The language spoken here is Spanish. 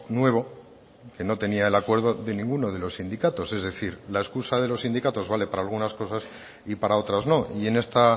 nuevo que no tenía el acuerdo de ninguno de los sindicatos es decir la excusa de los sindicatos vale para algunas cosas y para otras no y en esta